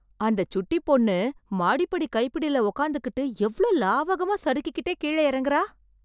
அந்த சுட்டிப் பொண்ணு, மாடிப்படி கைப்பிடில உக்காந்துகிட்டு எவ்ளோ லாவகமா சறுக்கிட்டே கீழ எறங்குறா...